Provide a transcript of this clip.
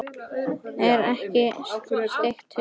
Er ekki steik fyrst?